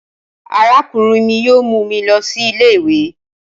Arakunrin mi yoo mu mi lọ si ile-iwe